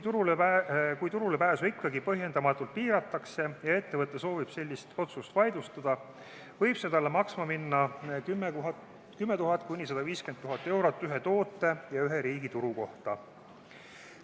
Kui turulepääsu ikkagi põhjendamatult piiratakse ja ettevõte soovib sellist otsust vaidlustada, võib see talle maksma minna 10 000–150 000 eurot ühe toote ja ühe riigi turu kohta.